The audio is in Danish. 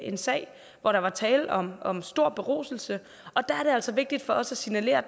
en sag hvor der var tale om om stor beruselse og der er det altså vigtigt for os at signalere